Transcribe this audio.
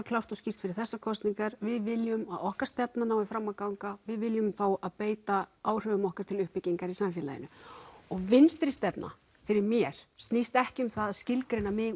klárt og skýrt fyrir þessar kosningar við viljum að okkar stefna nái fram að ganga við viljum fá að beita áhrifum okkar til uppbyggingar í samfélaginu og vinstri stefna fyrir mér snýst ekki um það að skilgreina mig